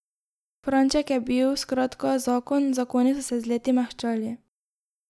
Franček je bil, skratka, zakon, zakoni so se z leti mehčali.